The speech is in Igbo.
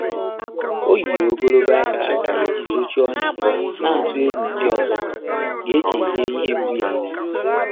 Ọ́ yìrì ògòlògò áká áká ìjí zòchíé ọ́nyá, nà-àtụ́ égwú ndị́ ọ́zọ́ gà-échèhíé ìhè mgbú yá.